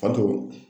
Fato